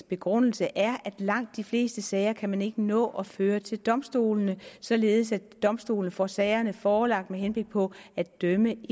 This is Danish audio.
begrundelse er at langt de fleste sager kan man ikke nå at føre til domstolene således at domstolene får sagerne forelagt med henblik på at dømme